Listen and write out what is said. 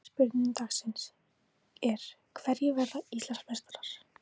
Síðari spurning dagsins er: Hverjir verða Íslandsmeistarar?